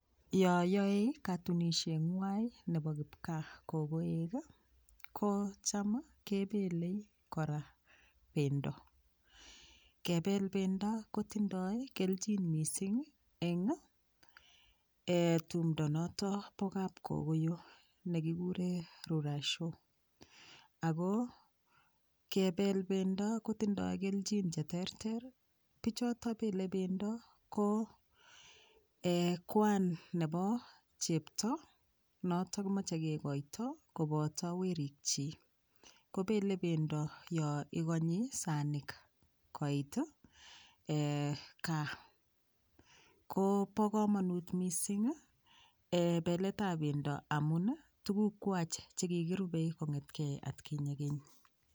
Yo yoei katunoshengwai nebo kipkaa kokoek kocham kebelei kora bendo kebel bendo kotindoi kelchin mising eng tumdo noto bo kapkokoyo nekikuree rurashio Ako kebel bendo kotindoi kelchin cheterter pichoto belei bendo ko Kwan nebo chepto noto kimochei kekoito koboto werik chi kobelei bendo yo ikonyi sanik koit kaa ko bo komonut mising belt ab bendo amun tukukwach che kikirubei kongetkei atkinye keny